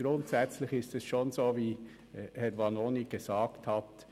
Grundsätzlich ist es so, wie Grossrat Vanoni gesagt hat.